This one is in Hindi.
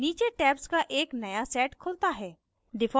नीचे tabs का एक नया set खुलता है